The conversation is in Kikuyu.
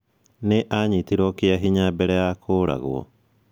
Nĩ aanyitirũo kĩa hinya mbere ya kũũragwo.